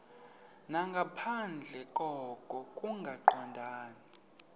nangaphandle koko kungaqondani